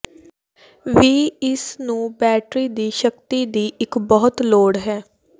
ਵੀ ਇਸ ਨੂੰ ਬੈਟਰੀ ਦੀ ਸ਼ਕਤੀ ਦੀ ਇੱਕ ਬਹੁਤ ਲੋੜ ਹੈ